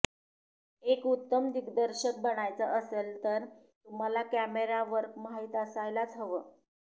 एक उत्तम दिग्दर्शक बनायचं असेल तर तुम्हाला कॅमेरा वर्क माहीत असायलाच हवं